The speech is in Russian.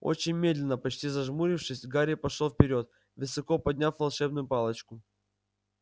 очень медленно почти зажмурившись гарри пошёл вперёд высоко подняв волшебную палочку